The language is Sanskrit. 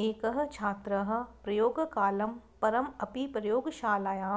एकः छात्रः प्रयोगकालं परम् अपि प्रयोगशालायां